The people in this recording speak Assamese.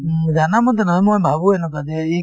উম, জানামতে নহয় মই ভাবোয়ে এনেকুৱা যে ইক